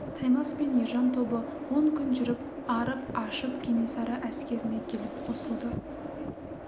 таймас пен ержан тобы он күн жүріп арып-ашып кенесары әскеріне келіп қосылды